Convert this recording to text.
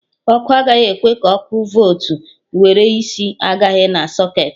Ọkụ a agaghị ekwe ka ọkụ voltu nwere isi gaghe na socketị